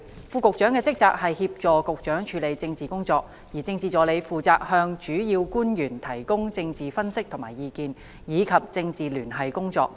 副局長的職責是協助局長處理政治工作，而政治助理負責向主要官員提供政治分析和意見，以及政治聯繫工作。